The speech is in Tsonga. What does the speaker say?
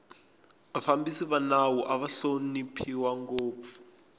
vafambisi va nawu ava hloniphiwa ngopfu